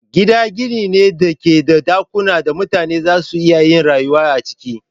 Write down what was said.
Gida gini ne da ke da dakunan da mutane za su iya yin rayuwa a ciki.